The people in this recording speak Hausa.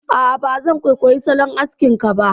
A'a, ba zan kwaikwayi salon askin ka ba